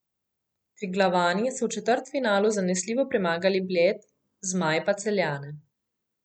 Triglavani so v četrtfinalu zanesljivo premagali Bled, zmaji pa Celjane.